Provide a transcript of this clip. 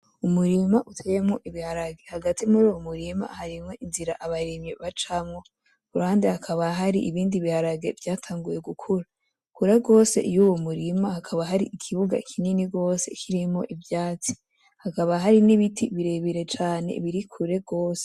Umurima uteyemwo ibirage hagati muruyo murima harimwo inzira abarimyi bacamwo kuruhande hakaba hari ibindi biharage vyatanguye gukura kure gose yuwo murima hakaba hari ikibuga kinini gose kirimwo ivyatsi, hakaba hari n'ibiti birebire cane biri kure gose.